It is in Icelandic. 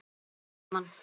Sváfu saman?